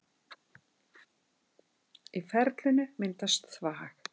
Í ferlinu myndast þvag.